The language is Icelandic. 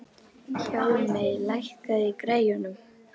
Hjálmey, lækkaðu í græjunum.